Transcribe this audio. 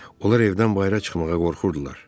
Onlar evdən bayıra çıxmağa qorxurdular.